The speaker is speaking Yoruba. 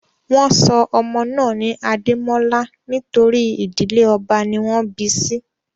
Wọ́n sọ ọmọ náà ní Adémọ́lá nítorí ìdílé ọba ní wọ́n bi sí